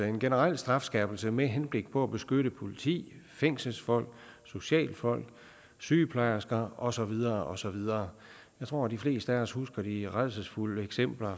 en generel strafskærpelse med henblik på at beskytte politi fængselsfolk socialfolk sygeplejersker og så videre og så videre jeg tror at de fleste af os husker de rædselsfulde eksempler